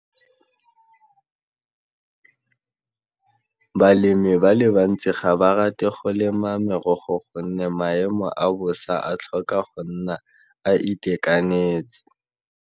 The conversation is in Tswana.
Balemi ba le bantsi ga ba rate go lema merogo gonne maemo a bosa a tlhoka go nna a itekanetse.